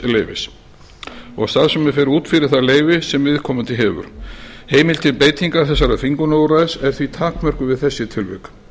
leyfis og starfsemin fer út fyrir það leyfi sem viðkomandi hefur heimild til beitingar þessa þvingunarúrræðis er því takmörkuð við þessi tilvik